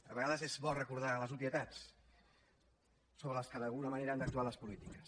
a vegades és bo recordar les obvietats sobre què d’alguna manera han d’actuar les polítiques